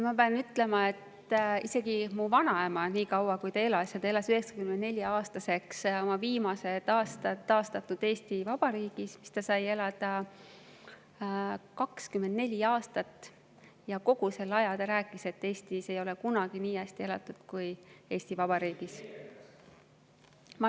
Ma pean ütlema, et isegi mu vanaema, kes elas 94‑aastaseks ja oma viimased aastad elas taastatud Eesti Vabariigis, kus ta sai elada 24 aastat, kogu selle aja rääkis, et Eestis ei ole kunagi nii hästi elatud kui nüüd Eesti Vabariigis.